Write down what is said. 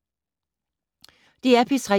DR P3